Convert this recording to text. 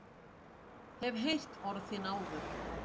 Hef heyrt orð þín áður.